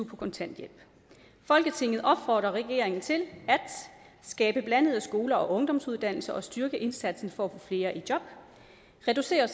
på kontanthjælp folketinget opfordrer regeringen til at skabe blandede skoler og ungdomsuddannelser og styrke indsatsen for at flere i job reducere